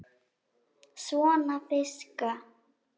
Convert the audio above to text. Svona fiska.